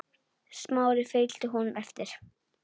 Smári fylgdi honum eftir.